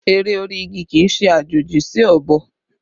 Ère orí igi kì í ṣe àjòjì sí ọ̀bọ